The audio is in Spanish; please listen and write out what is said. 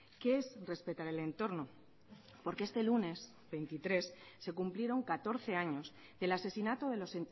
qué es respetar el entorno porque este lunes el veintitrés se cumplieron catorce años del asesinato de los